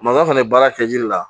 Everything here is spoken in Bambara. fana bɛ baara kɛ ji de la